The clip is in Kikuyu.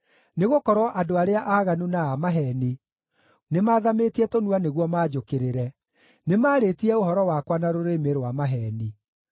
nĩgũkorwo andũ arĩa aaganu na a maheeni nĩmathamĩtie tũnua nĩguo manjũkĩrĩre; nĩmarĩtie ũhoro wakwa na rũrĩmĩ rwa maheeni.